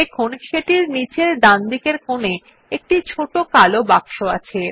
দেখুন সেটির নীচের ডানদিকের কোনে একটি ছোট কালো বাক্স আছে